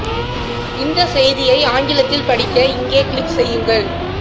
இந்த செய்தியை ஆங்கிலத்தில் படிக்க இங்கே கிளிக் செய்யுங்கள்